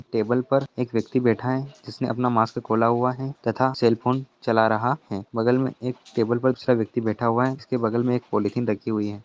Table पर एक व्यक्ति बैठा है जिसने अपना मास्क खोला हुआ है तथा सेल फोन चला रहा है बगल में एक टेबल पर दूसरा व्यक्ति बैठा हुआ है जिसके बगल में एक पॉलिथीन रखी हुई है।